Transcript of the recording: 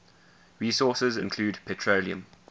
resources include petroleum